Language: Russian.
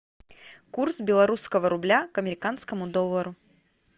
курс белорусского рубля к американскому доллару